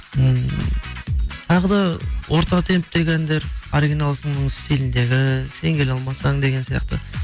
ммм тағы да орта темптегі әндер оригиналсың стиліндегі сен келе алмасаң деген сияқты